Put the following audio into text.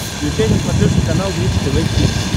включай на смотрешке канал бридж тв хитс